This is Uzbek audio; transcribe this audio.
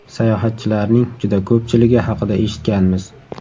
Sayohatchilarning juda ko‘pchiligi haqida eshitganmiz.